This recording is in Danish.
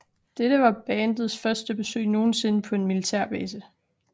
Dette var bandets første besøg nogensinde på en militærbase